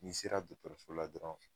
N'i sera dɔkɔtɔrɔso la dɔrɔn